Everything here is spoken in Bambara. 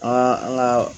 An ka an ka